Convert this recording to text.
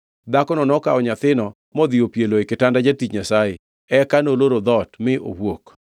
Dhakono nokawo nyathino modhi opielo e kitanda jatich Nyasaye, eka noloro dhoot mi owuok.